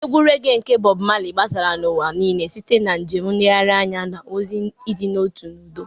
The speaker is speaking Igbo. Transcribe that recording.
Egwu regee nke Bob Marley gbasara n'ụwa niile site na njem nlegharị anya, na ozi nke ịdị n'otu na udo.